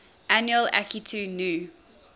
annual akitu new